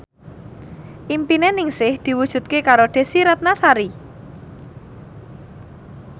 impine Ningsih diwujudke karo Desy Ratnasari